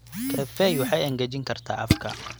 Kafeeyn waxay engejin kartaa afka.